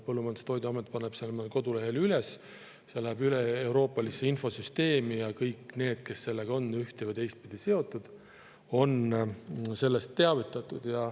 Põllumajandus- ja Toiduamet paneb selle kodulehele üles, see läheb üleeuroopalisse infosüsteemi ja kõik need, kes sellega on ühte- või teistpidi seotud, on sellest teavitatud.